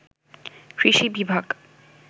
কৃষি বিভাগ